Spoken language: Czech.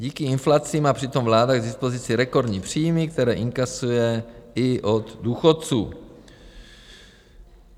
Díky inflaci má přitom vláda k dispozici rekordní příjmy, které inkasuje i od důchodců.